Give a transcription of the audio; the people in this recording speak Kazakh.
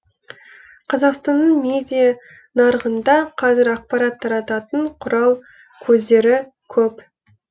қазақстанның медиа нарығында қазір ақпарат тарататын құрал көздері көп